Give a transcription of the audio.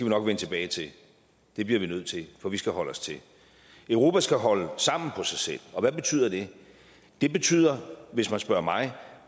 nok vende tilbage til det bliver vi nødt til for vi skal holde os til europa skal holde sammen på sig selv og hvad betyder det det betyder hvis man spørger mig